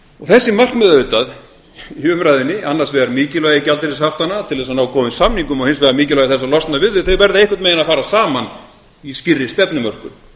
þessi markmið auðvitað í umræðunni annars vegar mikilvægi gjaldeyrishaftanna til þess að ná góðum samningum og hins vegar mikilvægi þess að losna við þau þau verða einhvern veginn að fara saman í skýrri stefnumörkun